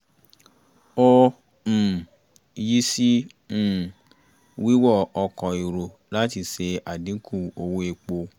ó um yí sí um wíwọ ọkọ̀ èrò láti ṣe àdínkù owó epo